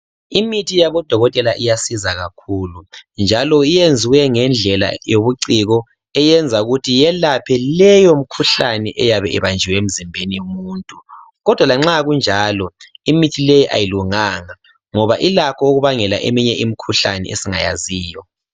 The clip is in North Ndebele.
Imithi yabodokotela iyasiza kakhulu njalo yenziwe ngendlela yobuciko eyenza ukuthi yelaphe leyo mkhuhlane eyabe ibanjiwe emzimbeni womuntu. Kodwa lanxa kunjalo, imithi leyi ayilunganga ngoba ilakho ukubangela eminye imkhuhlane esingayaziyo.